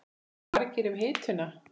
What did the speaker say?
Og eru margir um hituna?